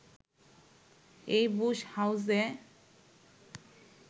এই বুশ হাউসে